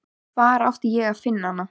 Hvar átti ég að finna hana?